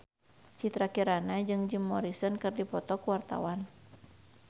Citra Kirana jeung Jim Morrison keur dipoto ku wartawan